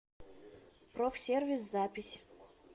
профсервис запись